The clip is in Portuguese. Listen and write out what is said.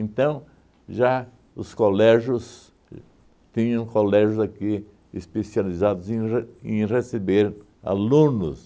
já os colégios, tinham colégios aqui especializados em re em receber alunos,